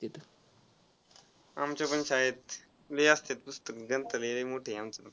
आमच्या पण शाळेत लय असत्यात पुस्तक ग्रंथालय लई मोठी आहे आमचीपण.